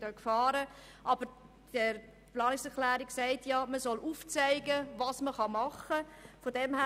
Sie birgt auch Gefahren, aber die Planungserklärung sagt, man solle aufzeigen, was gemacht werden könne.